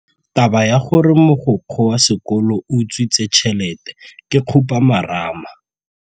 Taba ya gore mogokgo wa sekolo o utswitse tšhelete ke khupamarama.